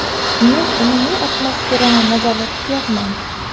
Men umumiy atmosferani nazarda tutyapman.